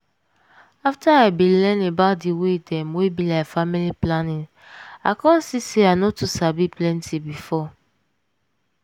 afta i bin learn about di way dem wey be like family planning i come see say i no too sabi plenty before.